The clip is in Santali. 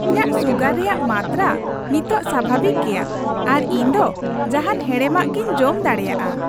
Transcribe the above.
ᱤᱧᱟᱜ ᱥᱩᱜᱟᱨ ᱨᱮᱭᱟᱜ ᱢᱟᱛᱨᱟ ᱱᱤᱛᱚᱜ ᱥᱟᱵᱷᱟᱵᱤᱠ ᱜᱮᱭᱟ ᱟᱨ ᱤᱧ ᱫᱚ ᱡᱟᱦᱟᱱ ᱦᱮᱲᱮᱢᱟᱜ ᱜᱤᱧ ᱡᱚᱢ ᱫᱟᱲᱮᱭᱟᱜᱼᱟ ᱾